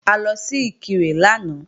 A lọ sí Ìkirè lánàá